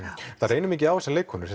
það reynir mikið á þessa leikkonu